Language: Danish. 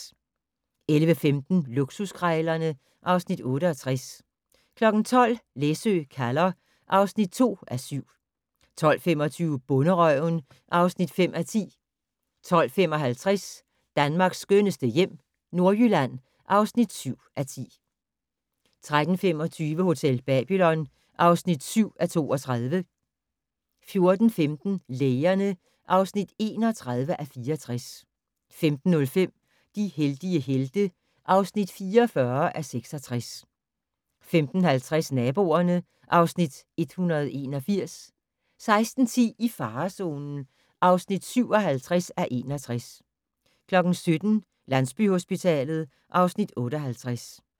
11:15: Luksuskrejlerne (Afs. 68) 12:00: Læsø kalder (2:7) 12:25: Bonderøven (5:10) 12:55: Danmarks skønneste hjem - Nordjylland (7:10) 13:25: Hotel Babylon (7:32) 14:15: Lægerne (31:64) 15:05: De heldige helte (44:66) 15:50: Naboerne (Afs. 181) 16:10: I farezonen (57:61) 17:00: Landsbyhospitalet (Afs. 58)